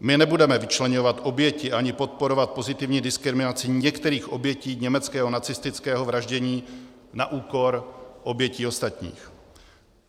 My nebudeme vyčleňovat oběti ani podporovat pozitivní diskriminaci některých obětí německého nacistického vraždění na úkor obětí ostatních.